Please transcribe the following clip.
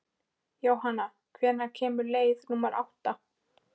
Jóhanna, hvenær kemur leið númer átta?